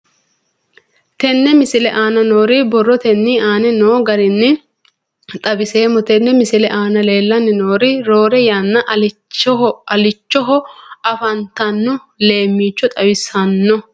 Tenne misile aana noore borrotenni aane noo garinni xawiseemo. Tenne misile aana leelanni nooerri roore yanna allichchoho afantanno leemicho xawissanno.